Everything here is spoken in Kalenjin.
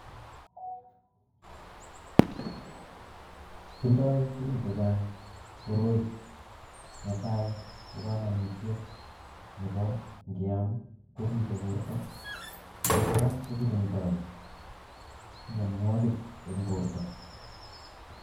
Tindoi tukun chechang' koroi netai kokamanutyet nebo nkiam koripe borto ako kora kokirindoi mnyanwakik eng borto